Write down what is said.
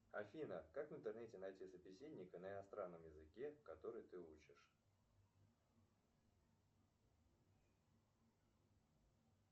афина как в интернете найти собеседника на иностранном языке который ты учишь